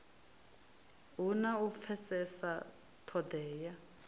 hu na u pfesesa ṱhodea